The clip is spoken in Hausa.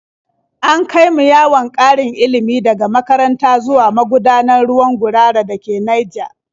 An kai mu yawon ƙarin ilimi daga makaranta zuwa magudanar ruwan Gurara da ke Naija.